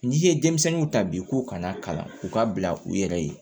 N'i ye denmisɛnninw ta bi k'u kana kalan u ka bila u yɛrɛ ye